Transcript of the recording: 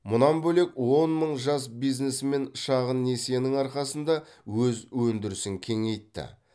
мұнан бөлек он мың жас бизнесмен шағын несиенің арқасында өз өндірісін кеңейтті